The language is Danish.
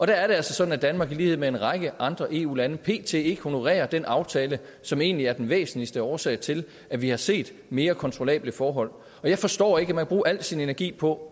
der er det altså sådan at danmark i lighed med en række andre eu lande pt ikke honorerer den aftale som egentlig er den væsentligste årsag til at vi har set mere kontrollable forhold jeg forstår ikke at man vil bruge al sin energi på